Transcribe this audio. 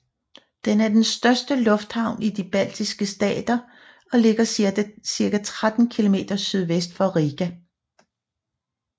Den er den største lufthavn i de baltiske stater og ligger cirka 13 km sydvest for Riga